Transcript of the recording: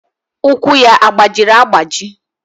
Ụkwụ ya agbajiri agbaji?